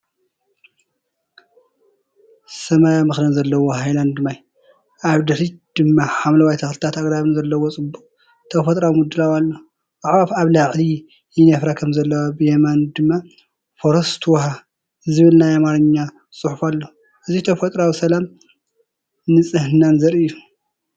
ሰማያዊ መኽደን ዘለዎ ሃይላንድ ማይ፣ ኣብ ድሕሪት ድማ ሓምለዋይ ተኽልታትን ኣግራብን ዘለዎ ጽቡቕ ተፈጥሮኣዊ ምድላው ኣሎ። ኣዕዋፍ ኣብ ላዕሊ ይነፍራ ከምዘለዋ ብየማን ድማ "ፎረስት ውሃ" ዝብል ናይ ኣምሓርኛ ጽሑፍ ኣሎ። እዚ ተፈጥሮኣዊ ሰላምን ንጽህናን ዘርኢ እዩ።